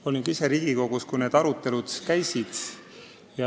Olin ka ise Riigikogus, kui need arutelud käisid.